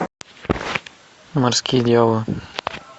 морские дьяволы